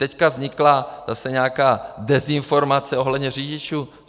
Teď vznikla zase nějaká dezinformace ohledně řidičů.